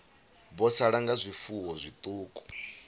vho sala nga zwifuwo zwiṱuku